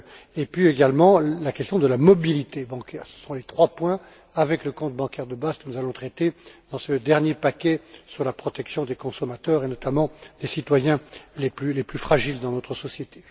Et puis, également, la question de la mobilité bancaire. Ce sont les trois points, avec le compte bancaire de base, que nous allons traiter dans ce dernier paquet sur la protection des consommateurs, et notamment celle des citoyens les plus fragiles dans notre société.